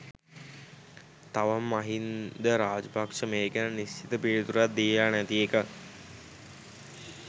තවම මහින්ද රාජපක්ෂ මේ ගැන නිශ්චිත පිළිතුරක් දීලා නැති එක.